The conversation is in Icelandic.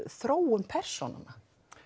þróun persóna